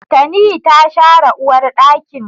Tani ta share uwarɗakin